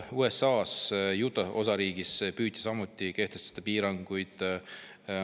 USA‑s Utah' osariigis püüti samuti kehtestada piiranguid.